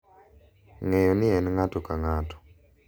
Ng’eyo ni en ng’ato ka ng’ato.